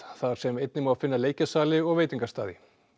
þar sem einnig má finna og veitingastaði